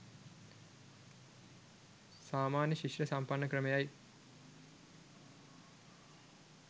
සාමාන්‍ය ශිෂ්ට සම්පන්න ක්‍රමය යි